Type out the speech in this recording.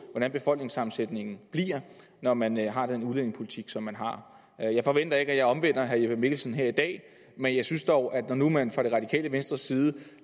hvordan befolkningssammensætningen bliver når man har den udlændingepolitik som man har jeg forventer ikke at jeg omvender herre jeppe mikkelsen her i dag men jeg synes dog at når nu man fra det radikale venstres side